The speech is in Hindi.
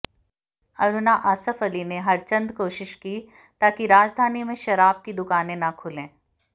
अरुणा आसफ अली ने हरचंद कोशिश की ताकि राजधानी में शराब की दुकानें ना खुलें